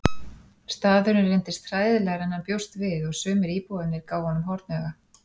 Staðurinn reyndist hræðilegri en hann bjóst við og sumir íbúarnir gáfu honum hornauga.